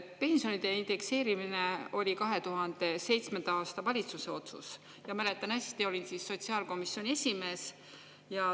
Pensionide indekseerimine oli 2007. aasta valitsuse otsus ja ma mäletan hästi, olin siis sotsiaalkomisjoni esimees.